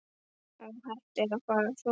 Óhætt að fara að sofa.